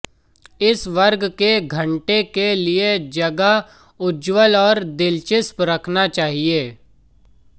इस वर्ग के घंटे के लिए जगह उज्ज्वल और दिलचस्प रखना चाहिए